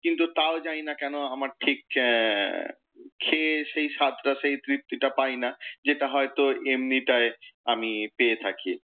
কিন্তু তাও জানিনা কেন, আমার ঠিক এর খেয়ে সেই স্বাদটা সেউ তৃপ্তিটা পাই না, যেটা হয়ত এমনিটায় আমি পেয়ে থাকি।